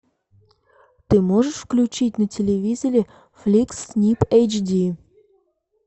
ты можешь включить на телевизоре фликс снип эйч ди